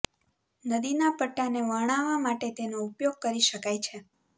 નદીના પટ્ટાને વર્ણવવા માટે તેનો ઉપયોગ કરી શકાય છે